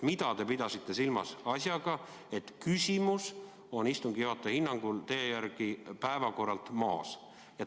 Mida te pidasite silmas asjaga, et küsimus on istungi juhataja hinnangul päevakorralt maas?